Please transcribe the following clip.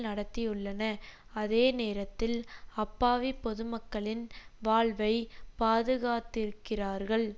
நடத்தியுள்ளன அதே நேரத்தில் அப்பாவி பொதுமக்களின் வாழ்வை பாதுகாத்திருக்கிறார்கள்